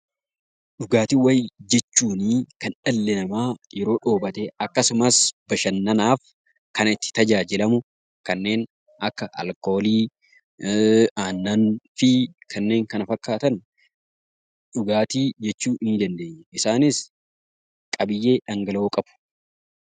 Dhugaatiiwwan jechuun kan dhalli namaa yeroo dheebote akkasumas bashannanaaf kan itti tajaajilamu kanneen akka alkoolii, aannan fi kanneen kana fakkaatan 'dhugaatii' jechuu dandeenya. Isaanis qabiyyee dhangala'oo qabu.